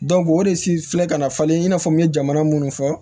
o de si filɛ ka na falen i n'a fɔ n ye jamana munnu fɔ